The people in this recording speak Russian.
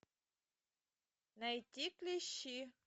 найти клещи